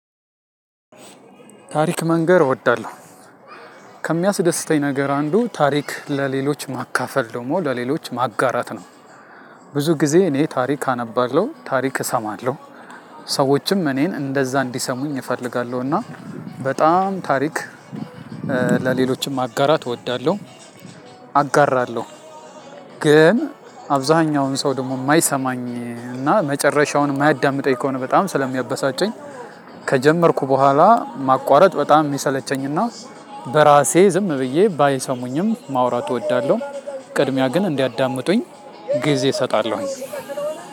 ታሪክ መንገር እወዳለሁ። ከሚያስደስተኝ ነገር አንዱ ታሪክ ለሌሎች ማካፈል ደግሞ ለሌሎች ማጋራት ነው። ብዙ ጊዜ እኔ ታሪክ አነባለው ታሪክ እሰማለው። ሰዎችም እኔን እንደዛ እንዲሰሙኝ እፈልጋለሁ። እና በጣም ታሪክ ለሌሎች ማጋራት እወዳለሁ። አጋራለሁ ግን አብዛኛውን ሰው ደግሞ የማይሰማኝ እና መጨረሻውን የማያዳምጠኝ ከሆነ በጣም ስለሚያበሳጨኝ። ከጀመርኩ በኋላ ማቋረጥ በጣም የሚሰለቸኝና በራሴ ዝም ብዬ ባይሰሙኝም ማውራት እወዳለሁ። ቅድሚያ ግን እንዲያዳምጡኝ ጊዜ እሰጣለሁኝ።